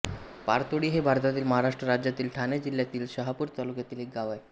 पारतोळी हे भारतातील महाराष्ट्र राज्यातील ठाणे जिल्ह्यातील शहापूर तालुक्यातील एक गाव आहे